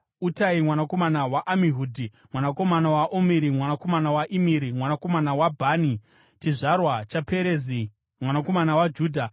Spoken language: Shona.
Utai mwanakomana waAmihudhi, mwanakomana waOmuri, mwanakomana waImiri, mwanakomana waBhani, chizvarwa chaPerezi mwanakomana waJudha.